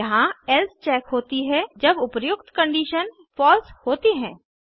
यहाँ else check होती है जब उपर्युक्त कंडिशन्स फलसे होती हैं